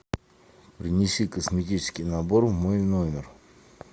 принеси косметический набор в мой номер